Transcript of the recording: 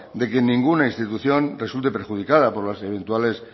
de que ninguna institución resulte perjudicada por las eventuales